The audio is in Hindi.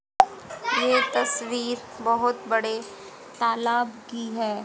ये तस्वीर बहोत बड़े तालाब की है।